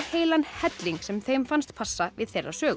heilan helling sem þeim fannst passa í þeirra sögu